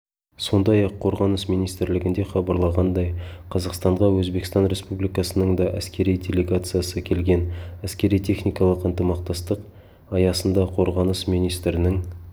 сондай-ақ қорғаныс министрлігінде хабарлағандай қазақстанға өзбекстан республикасының да әскери делегациясы келген әскери-техникалық ынтымақтастық аясында қорғаныс министрінің